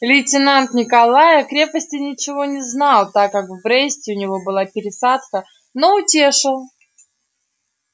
лейтенант николай о крепости ничего не знал так как в бресте у него была пересадка но утешил